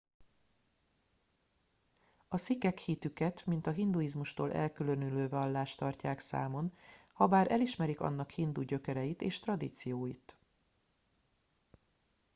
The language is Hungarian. a szikhek hitüket mint a hinduizmustól elkülönülő vallást tartják számon habár elismerik annak hindu gyökereit és tradícióit